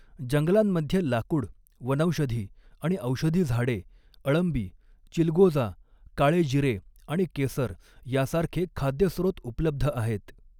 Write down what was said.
जंगलांमध्ये लाकूड, वनौषधी आणि औषधी झाडे, अळंबी, चिलगोजा, काळे जिरे आणि केसर यासारखे खाद्य स्रोत उपलब्ध आहेत.